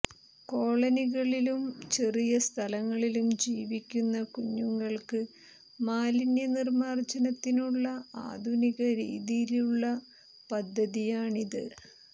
കോളനികളിലും ചെറിയ സ്ഥലങ്ങളിലും ജീവിക്കുന്ന കുഞ്ഞുങ്ങള്ക്ക് മാലിന്യ നിര്മാര്ജനത്തിനുള്ള ആധുനിക രീതിയിലുള്ള പദ്ധതിയാണിത്